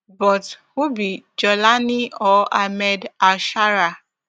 but who be jawlani or ahmed alsharaa